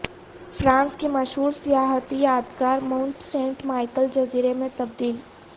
France کی مشہور سیاحتی یادگار مونٹ سینٹ مائیکل جزیرے میں تبدیل